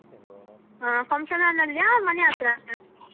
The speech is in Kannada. ಹ function hall ನಲ್ಲ ಮನೆ ಹತ್ರನ.